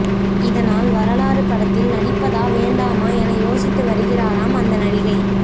இதனால் வரலாறு படத்தில் நடிப்பதா வேண்டாமா என யோசித்து வருகிறாராம் அந்த நடிகை